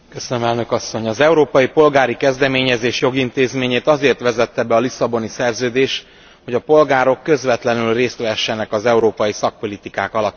Az európai polgári kezdeményezés jogintézményét azért vezette be a Lisszaboni Szerződés, hogy a polgárok közvetlenül részt vehessenek az európai szakpolitikák alakításában.